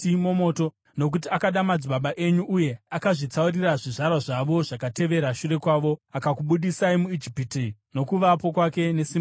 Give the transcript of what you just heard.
Nokuti akada madzibaba enyu uye akazvitsaurira zvizvarwa zvavo zvakavatevera shure kwavo, akakubudisai muIjipiti noKuvapo kwake nesimba rake guru,